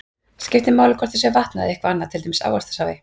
Skiptir máli hvort það sé vatn eða eitthvað annað, til dæmis ávaxtasafi?